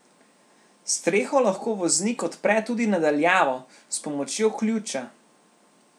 Streho lahko voznik odpre tudi na daljavo, s pomočjo ključa.